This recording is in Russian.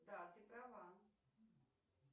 да ты права